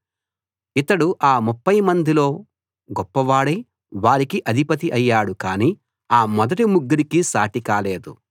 ఇతడు ఆ ముప్ఫై మందిలో గొప్పవాడై వారికి అధిపతి అయ్యాడు కానీ ఆ మొదటి ముగ్గురికీ సాటి కాలేదు